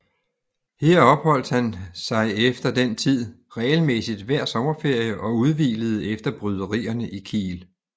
Her opholdt han sig efter den tid regelmæssig hver sommerferie og udhvilede efter bryderierne i Kiel